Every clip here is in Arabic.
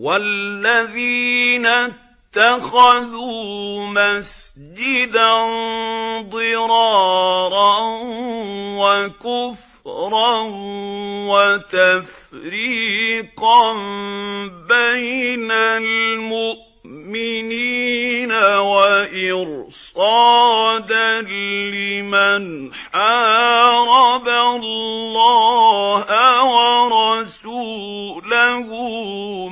وَالَّذِينَ اتَّخَذُوا مَسْجِدًا ضِرَارًا وَكُفْرًا وَتَفْرِيقًا بَيْنَ الْمُؤْمِنِينَ وَإِرْصَادًا لِّمَنْ حَارَبَ اللَّهَ وَرَسُولَهُ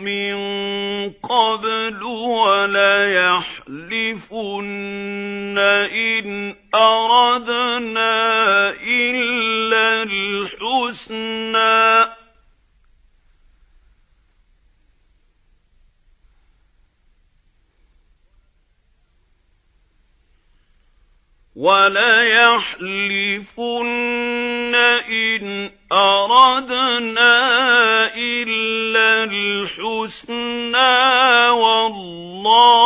مِن قَبْلُ ۚ وَلَيَحْلِفُنَّ إِنْ أَرَدْنَا إِلَّا الْحُسْنَىٰ ۖ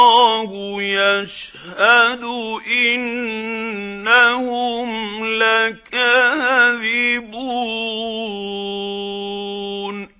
وَاللَّهُ يَشْهَدُ إِنَّهُمْ لَكَاذِبُونَ